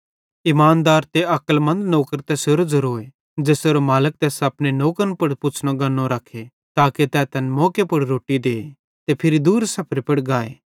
इमानदार ते अक्लमन्द नौकर तैसेरो ज़ेरोए ज़ेसेरो मालिक तैस अपने नौकरन पुड़ पुछ़नो गन्ने रखे ताके तै तैन मौके पुड़ रोट्टी दे ते फिरी दूर सफरे पुड़ गाए